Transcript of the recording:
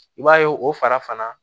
I b'a ye o fara fana